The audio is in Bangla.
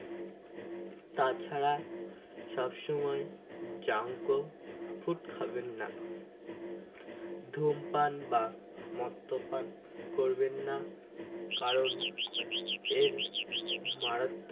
তাছাড়া সব সময় junk ও food খাবেন না ধূমপান বা মদ্যপান করবেন না কারণ এর মারা